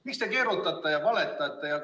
Miks te keerutate ja valetate?